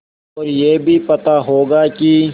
और यह भी पता होगा कि